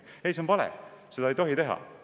Ei, see on vale ja seda ei tohi teha!